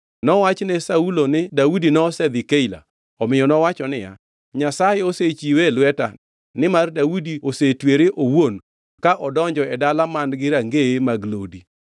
Nowach ne Saulo ni Daudi nosedhi Keila, omiyo nowacho niya, “Nyasaye osechiwe e lweta, nimar Daudi osetwere owuon ka odonjo e dala man-gi rangeye kod lodi.”